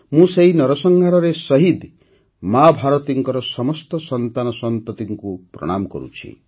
ମୁଁ ସେହି ନରସଂହାରରେ ଶହୀଦ୍ ମାଆ ଭାରତୀଙ୍କ ସମସ୍ତ ସନ୍ତାନସନ୍ତତିଙ୍କୁ ପ୍ରଣାମ କରୁଛି